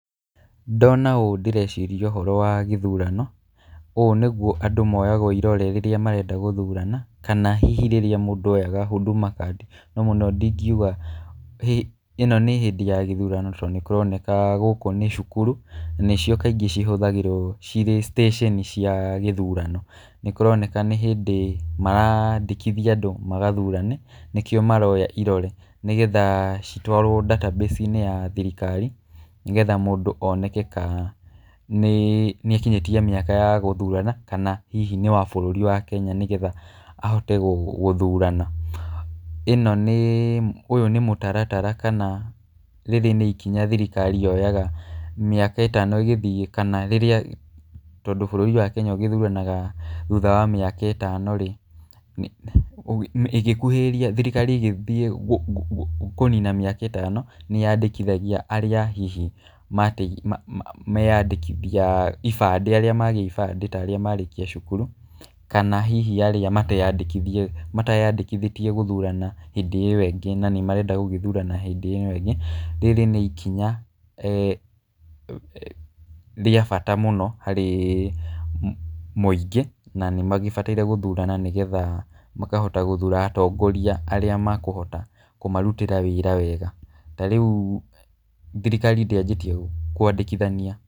Ndona ũũ ndĩreciria ũhoro wa gĩthurano, ũũ nĩguo andũ moyagwo irore rĩrĩa marenda gũthurana kana hihi rĩrĩa mũndũ oyaga Huduma card. No mũno ndingiuga ĩno nĩ hĩndĩ ya gĩthurano tondũ nĩkũroneka gũkũ nĩ cukuru nĩcio kaingĩ cihũthagĩrwo cirĩ citĩcĩni cia gĩthurano. Nĩkũroneka nĩ hĩndĩ marandĩkitha andũ magathurane nĩkĩo maroya irore nĩgetha citwarwo database inĩ ya thirikari nĩgetha mũndũ oneke kana nĩakinyĩtie mĩaka ya gũthurana kana hihi nĩ wa bũrũri wa Kenya nĩgetha ahote gũthurana. Ĩno nĩ ũyũ nĩ mũtaratara kana rĩrĩ nĩ ikinya thirikari yoyaga mĩaka ĩtano ĩgĩthiĩ kana rĩrĩa tondũ bũrũri wa Kenya ũgĩthuranaga thutha wa mĩaka ĩtano-rĩ, ĩgĩkuhĩrĩria thirikari ĩgĩthiĩ kũnina mĩaka ĩtano, nĩyandĩkithagia arĩa hihi mate menyandĩkithia ibandĩ arĩa magĩa ibandĩ ta arĩa marĩkia cukuru, kana hihi arĩa mateyandĩkithĩtie gũthurana hĩndĩ ĩyo ĩngĩ na nĩmarenda gũgĩthurana hĩndĩ ĩno ĩngĩ. Rĩrĩ ni kinya eh rĩa bata mũno harĩ mũingĩ, na nĩmagĩbataire gũthurana nĩgetha makahota gũthura atongoria arĩa makũhota kũmarutĩra wĩra wega. Ta rĩu thirikari ndĩanjĩtie kũandĩkithania.